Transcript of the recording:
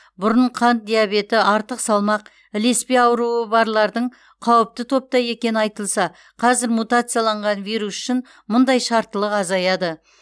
бұрын қант диабеті артық салмақ ілеспе ауруы барлардың қауіпті топта екені айтылса қазір мутацияланған вирус үшін мұндай шарттылық азаяды